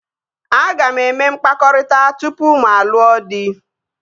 Aga m eme mkpakọrịta tupu mụ alụọ dị